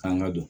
K'an ka don